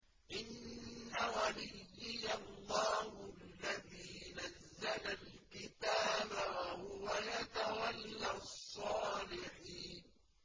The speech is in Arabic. إِنَّ وَلِيِّيَ اللَّهُ الَّذِي نَزَّلَ الْكِتَابَ ۖ وَهُوَ يَتَوَلَّى الصَّالِحِينَ